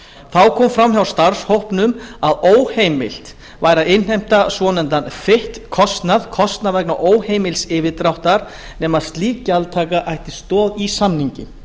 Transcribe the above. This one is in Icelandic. þá kom fram hjá starfshópnum að óheimilt væri að innheimta svonefndan fit kostnað nema slík gjaldtaka ætti stoð í samningi